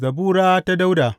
Zabura ta Dawuda.